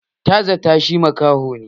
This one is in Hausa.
Ta zatta shi makaho ne